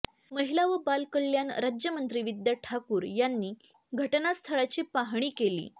महिला व बालकल्याण राज्यमंत्री विद्या ठाकूर यांनी घटनास्थळाची पाहणी केली